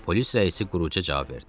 Polis rəisi quru-quru cavab verdi.